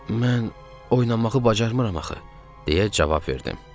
Mən oynamağı bacarmıram axı, deyə cavab verdim.